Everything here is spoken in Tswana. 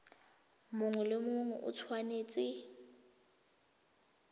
mongwe le mongwe o tshwanetse